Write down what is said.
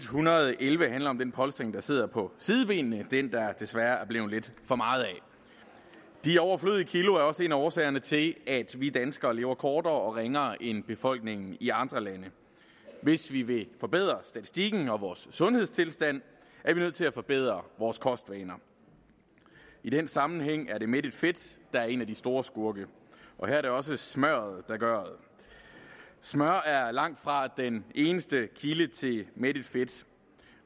hundrede og elleve handler om den polstring der sidder på sidebenene den der desværre er blevet lidt for meget af de overflødige kilo er også en af årsagerne til at vi danskere lever kortere og ringere end befolkningen i andre lande hvis vi vil forbedre statistikken og vores sundhedstilstand er vi nødt til at forbedre vores kostvaner i den sammenhæng er det mættet fedt der er en af de store skurke og her er det også smørret der gøret smør er langtfra den eneste kilde til mættet fedt